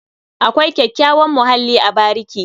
Akwai kyakkyawan muhalli a bariki.